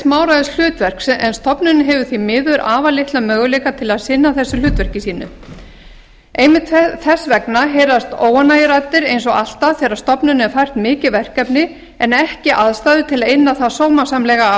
smáræðis hlutverk en stofnunin hefur því miður afar litla möguleika til að sinna þessu hlutverki sínu einmitt þess vegna heyrast óánægjuraddir eins og alltaf þegar stofnun er fært mikið verkefni en ekki aðstæður til að inna það sómasamlega af